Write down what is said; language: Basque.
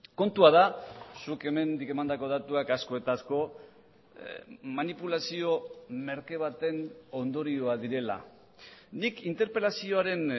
kontua da zuk hemen nik emandako datuak asko eta asko manipulazio merke baten ondorioa direla nik interpelazioaren